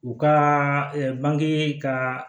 U ka bange ka